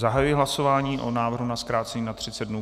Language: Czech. Zahajuji hlasování o návrhu na zkrácení na 30 dnů.